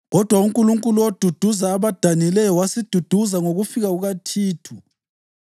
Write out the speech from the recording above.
Kodwa uNkulunkulu oduduza abadanileyo wasiduduza ngokufika kukaThithu,